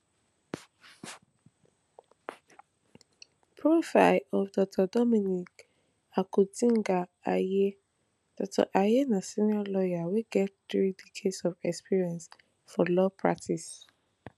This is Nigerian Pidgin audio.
profile of dr dominic akuritinga ayine dr ayine na senior lawyer wey get three decades of experience for law practice